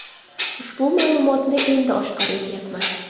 Ushbu ma’lumotni endi oshkor etayapman.